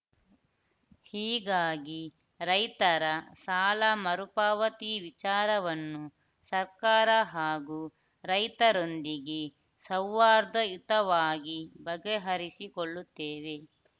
ಹೀಗಾಗಿ ರೈತರ ಸಾಲ ಮರುಪಾವತಿ ವಿಚಾರವನ್ನು ಸರ್ಕಾರ ಹಾಗೂ ರೈತರೊಂದಿಗೆ ಸೌಹಾರ್ದಯುತವಾಗಿ ಬಗೆಹರಿಸಿಕೊಳ್ಳುತ್ತೇವೆ